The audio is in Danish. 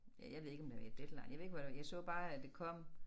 Ja jeg ved ikke om det var i Deadline jeg ved ikke hvor det var jeg så bare at det kom